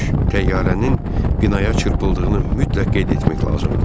Təyyarənin binaya çırpıldığını mütləq qeyd etmək lazımdır.